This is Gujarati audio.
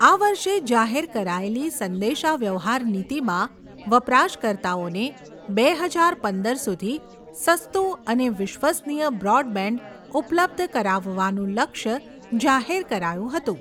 આ વર્ષે જાહેર કરાયેલી સંદેશાવ્યવહાર નીતિમાં, વપરાશકર્તાઓને બે હજાર પંદર સુધી, સસ્તું અને વિશ્વસનીય બ્રોડબેન્ડ, ઉપલબ્ધ કરાવવાનું લક્ષ્ય જાહેર કરાયું હતું.